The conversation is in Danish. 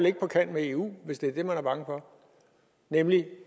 ikke på kant med eu hvis det er det man er bange for nemlig